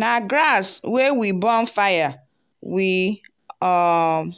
na grass wey we burn fire we um